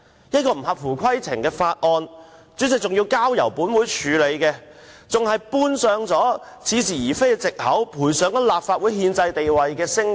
這項不合乎規程的《條例草案》，主席仍然交付本會處理，還搬出似是而非的藉口，賠上立法會的憲制地位及聲譽。